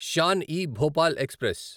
Shan e Bhopal express